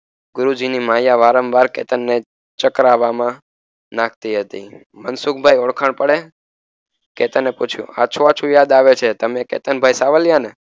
ગુરુજીની માયા વારંવાર કેતનને ચ્ક્ર્વામાં નાખતી હતી મનસુખભાઇ ઓળખાણ પડે કેતને પૂછ્યું આછુંઆછું યાદ આવે છે તમે કેતનભાઈ સાવલિયાને